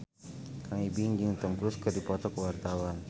Kang Ibing jeung Tom Cruise keur dipoto ku wartawan